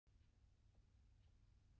Hvíl í friði, kæra mamma.